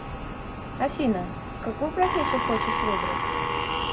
афина какую профессию хочешь выбрать